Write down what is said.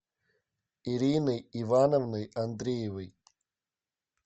ириной ивановной андреевой